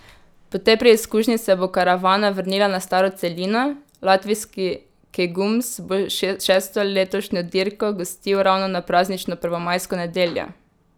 Po tej preizkušnji se bo karavana vrnila na staro celino, latvijski Kegums bo šesto letošnjo dirko gostil ravno na praznično prvomajsko nedeljo.